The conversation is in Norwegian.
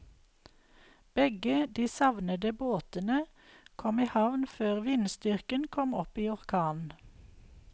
Begge de savnede båtene kom i havn før vindstyrken kom opp i orkan.